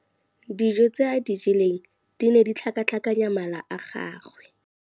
Dijô tse a di jeleng di ne di tlhakatlhakanya mala a gagwe.